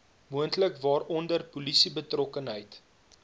moontlik waaronder polisiebetrokkenheid